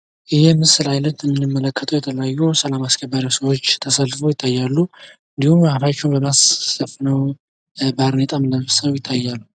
ይህ የምስል አይነት እንደምንመለከተው የተለያዩ ሰላም አስከባሪ ሰዎች ተሰልፈው ይታያሉ ፤ እንዲሁም አፋቸዉን በማስክ ሸፍነው፣ ባርኔጣም ለብሰው ይታያሉ።